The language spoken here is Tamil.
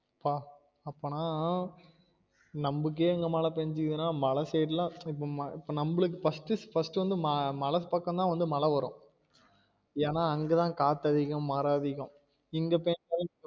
பா அப்பனா நம்முக்கே இங்க மழை பெஞ்சி இருக்குனா மல side லாம் இப்~ இப்ப நம்மளுக்கு first first வந்து மா~ மழ பக்கம் தான் வந்து மழ வரும் எனா அங்க தான் காத்து அதிகம் மரம் அதிகம் இங்க பெஞ்ச